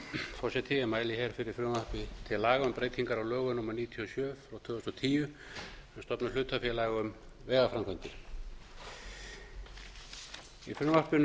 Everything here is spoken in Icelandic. forseti ég mæli fyrir frumvarpi til laga um breytingar á lögum númer níutíu og sjö tvö þúsund og tíu um að stofna hlutafélag um vegaframkvæmdir í frumvarpinu